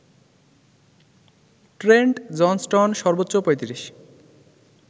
Trent Johnston সর্বোচ্চ ৩৫